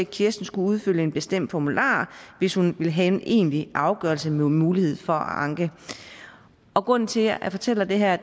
kirsten skulle udfylde en bestemt formular hvis hun ville have en egentlig afgørelse med mulighed for at anke grunden til at jeg fortæller det her